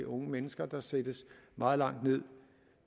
unge mennesker der sættes meget langt ned